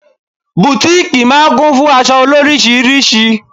Butiiki máa ń kún fún aṣọ loríṣiríṣi.